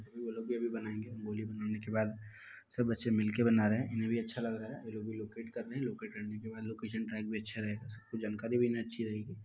वो लोग भी अभी बनायेंगे रंगोली बनाने के बाद सब बच्चे मिलके बना रहे हैं। इन्हें भी अच्छा लग रहा है। ये अभी लोकेट कर रहे हैं। लोकेट करने के बाद लोकेशन ट्रैक भी अच्छा रहेगा। सबको जानकारी भी इन्हें अच्छी रहेगी।